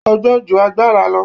Ọgbọ́n ju agbára lọ